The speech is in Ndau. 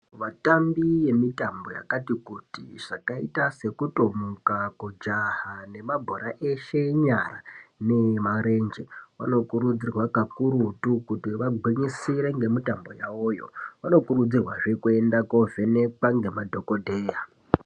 Vatambi vemitambo yakati kuti yakaita sekutomuka kujaha nemabhora eshe enyara neyemaranje vanokurudzirwa kakurutu kuti vagwinyisire nemitambo yawoyo vanokurudzirwa kuenda kovhenekwa nemadhokodheya.